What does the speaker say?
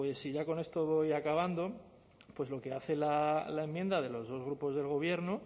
y ya con esto voy acabando pues lo que hace la enmienda de los dos grupos del gobierno